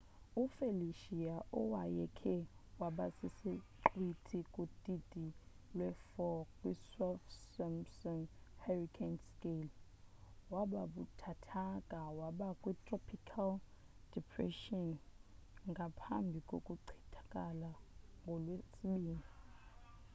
ufelicia owayekhe waba sisiqhwithi kudidi lwe 4 kwisaffir-simpson hurricane scale wababuthathaka waba kwi-tropical depressionngaphambi kokuchithakala ngolwesibini